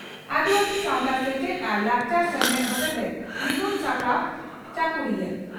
ᱟᱹᱫᱤᱵᱟᱹᱥᱤ ᱥᱟᱣᱛᱟ ᱥᱮᱪᱮᱫ ᱟᱨ ᱞᱟᱠᱪᱟᱨ ᱥᱢᱮᱞᱮᱫ ᱦᱚᱛᱮᱛᱮ ᱢᱤᱫᱩᱱ ᱥᱟᱯᱲᱟᱣ ᱪᱟᱠᱩᱲᱤᱭᱟᱹ